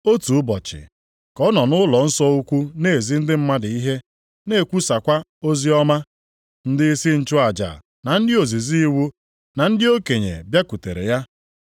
Otu ụbọchị, ka ọ nọ nʼụlọnsọ ukwu na-ezi ndị mmadụ ihe na-ekwusakwa oziọma. Ndịisi nchụaja, na ndị ozizi iwu na ndị okenye bịakwutere ya.